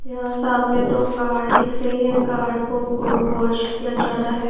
यहां सामने दो कार दिख रही है कार को वॉश किया जा रहा है।